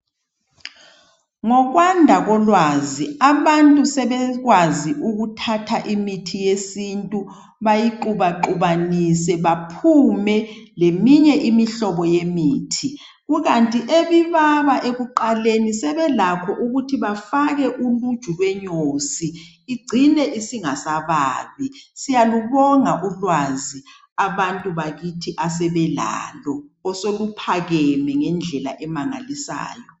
Ngokwanda kolwazi abantu sebekwazi ukuthatha imithi yesintu bayixubaxubanise baphume leminye imithi. Kukanti ebibaba ekuqaleni sebelakho ukuthi bafake uluju lwenyosi igcine isingasababi. Siyalubonga ulwazi abantu bakithi asebelalo osoluphakeme ngendlela emangalisayo.